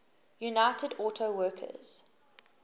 united auto workers